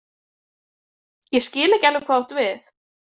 Ég skil ekki alveg hvað þú átt við.